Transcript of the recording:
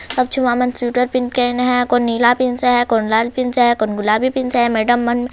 सब छुआ मन स्वेटर पहिन के आइन हैं कोई नीला पीन्स हैं कोई लाल पीन्स हैं कोन गुलाबी पीन्स हैं मेडम मन--